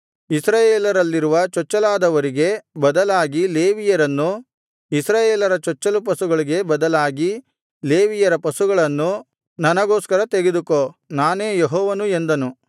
ಇಸ್ರಾಯೇಲರಲ್ಲಿರುವ ಚೊಚ್ಚಲಾದವರಿಗೆ ಬದಲಾಗಿ ಲೇವಿಯರನ್ನೂ ಇಸ್ರಾಯೇಲರ ಚೊಚ್ಚಲು ಪಶುಗಳಿಗೆ ಬದಲಾಗಿ ಲೇವಿಯರ ಪಶುಗಳನ್ನೂ ನನಗೋಸ್ಕರ ತೆಗೆದುಕೋ ನಾನೇ ಯೆಹೋವನು ಎಂದನು